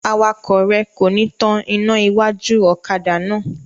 Awakọ̀ rẹ kò ní tán ina iwájú ọ̀kadà náà.